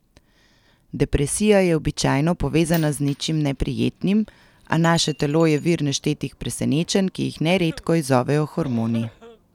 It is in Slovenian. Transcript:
Depresija je običajno povezana z nečim neprijetnim, a naše telo je vir neštetih presenečenj, ki jih neredko izzovejo hormoni.